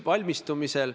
Palun!